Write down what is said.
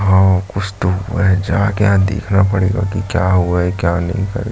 और कुछ तो हुआ है जाके यहाँ देखना पड़ेगा की क्या हुआ है क्या नहीं कर --